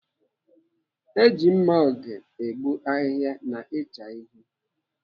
Eji mma oge egbu ahịhịa na ịcha ihe.